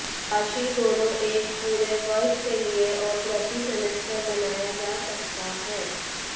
राशि दोनों एक पूरे वर्ष के लिए और प्रति सेमेस्टर बनाया जा सकता है